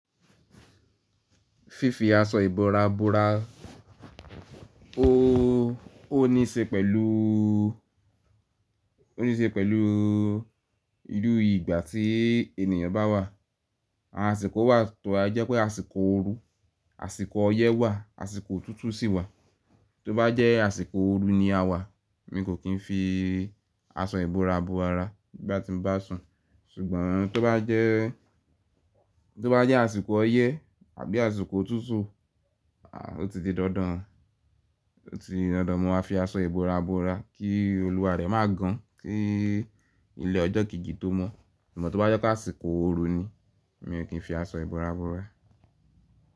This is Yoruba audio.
Fífi aṣọ ìbora bora ó, ó ní í ṣe pẹ̀lú, ó ní í ṣe pẹ̀lú irú ìgbà tí ènìyàn bá wà. Àsìkò wà tó a jẹ́ pé àsìkò ooru, àsìkò ọyẹ́ wà, àsìkò òtútù sì wà. Tó bá jẹ́ àsìkò ooru ni a wà mi kò kín fi aṣọ ìbora bo ara ní gbá ti ń bá sùn. Ṣùgbọ́n tó bá jẹ́, tó bá jẹ́ àsìkò ọyẹ́ àbí àsìkò òtútù, aà o ti di dandan, o ti dandan mo má fi aṣọ ìbora bora kí olúwa rẹ má gan, kí ilẹ̀ ọjọ́ kì ígi tó mọ́. Ṣùgbọ́n tó bá jẹ́ ká àsìkò ooru ni, mi ò kín fi aṣọ ìbora bora.